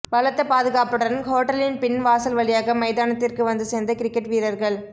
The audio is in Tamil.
பலத்த பாதுகாப்புடன் ஹோட்டலின் பின் வாசல் வழியாக மைதானத்திற்கு வந்து சேர்ந்த கிரிக்கெட் வீரர்கள்